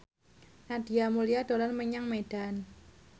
Nadia Mulya dolan menyang Medan